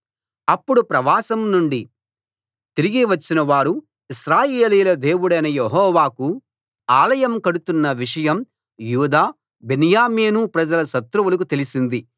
అప్పుడు ప్రవాసం నుండి తిరిగి వచ్చిన వారు ఇశ్రాయేలీయుల దేవుడైన యెహోవాకు ఆలయం కడుతున్న విషయం యూదా బెన్యామీను ప్రజల శత్రువులకు తెలిసింది